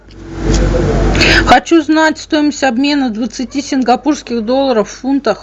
хочу знать стоимость обмена двадцати сингапурских долларов в фунтах